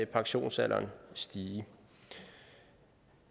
pensionsalderen stige